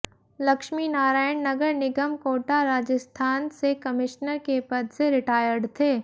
लक्ष्मीनारायण नगर निगम कोटा राजस्थान से कमिश्नर के पद से रिटायर्ड थे